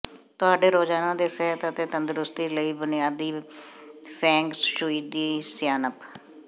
ਤੁਹਾਡੇ ਰੋਜ਼ਾਨਾ ਦੇ ਸਿਹਤ ਅਤੇ ਤੰਦਰੁਸਤੀ ਲਈ ਬੁਨਿਆਦੀ ਫੈਂਗ ਸ਼ੂਈ ਦੀ ਸਿਆਣਪ